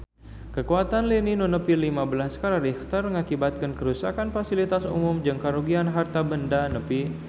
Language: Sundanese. Kakuatan lini nu nepi lima belas skala Richter ngakibatkeun karuksakan pasilitas umum jeung karugian harta banda nepi ka 1 juta rupiah